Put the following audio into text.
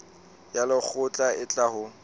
ya lekgotla e tla ho